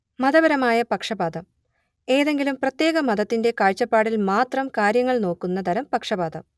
മതപരമായ പക്ഷപാതം ഏതെങ്കിലും പ്രത്യേക മതത്തിന്റെ കാഴ്ചപ്പാടിൽ മാത്രം കാര്യങ്ങൾ നോക്കുന്ന തരം പക്ഷപാതം